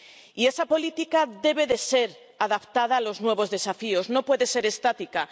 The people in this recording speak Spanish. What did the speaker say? Y esa política debe ser adaptada a los nuevos desafíos, no puede ser estática.